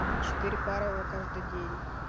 и по четыре пары во каждый день